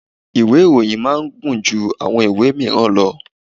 Ìwé ìròyìn máa ń gùn ju àwọn ìwé míràn lọ.